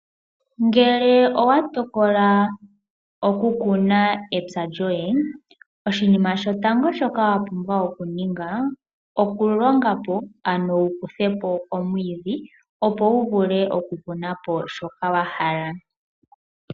Ngele owa tokola oku kuna epya lyoye, oshinima shotango shoka wa pumbwa okuninga, oku longapo ano wu kuthepo omwiidhi, opo wu vule oku kunapo shoka wahala.